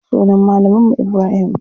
Sunan malamin mu Ibrahim.